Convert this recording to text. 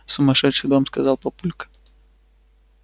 сумасшедший дом сказал папулька